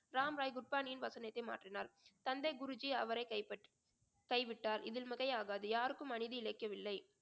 ராம் ராய் குட்பானியின் வசனத்தை மாற்றினார் தந்தை குருஜி அவரை கைப்பற்~ கைவிட்டார் இதில் மிகையாகாது யாருக்கும் அநீதி இழைக்கவில்லை